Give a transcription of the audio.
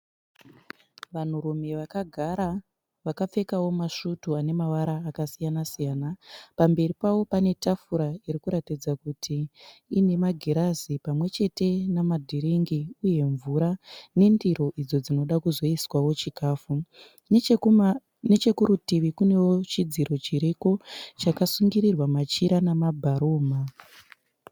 Vanhurume vakagara vakapfekawo masvutu anemavara akasiyana -siyana. Pamberi pavo panetafura irikuratidza kuti ine magirazi pamwechete namadhiringi uye mvura nendiro idzo dzinoda kuzoiswawo chikafu. Nechekuma nechekurutivi kunewo chidziro chiriko chakasungirirwa machira nemabharumha.